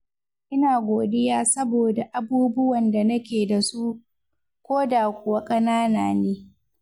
Ina godiya saboda abubuwan da nake da su, koda kuwa ƙanana ne.